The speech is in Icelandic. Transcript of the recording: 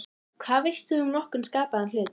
Hvað veist þú um nokkurn skapaðan hlut!?